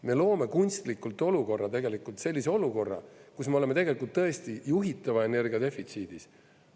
Me loome kunstlikult sellise olukorra, kus me oleme tegelikult tõesti juhitava energia defitsiidis.